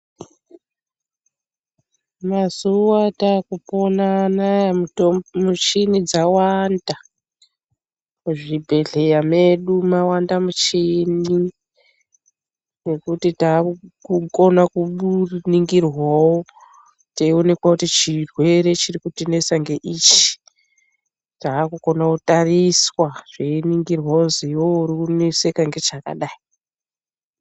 Mazuwa atakupona anaya muchini dzawanda, muzvibhedhleya medu mawande muchini nekuti takukona kuningirwawo teionekwa kuti chirwere chirikutinesa ngeichi, takukone kutariswa zveiningirwa kuzi iwewe uri kuneseka ngechakadai.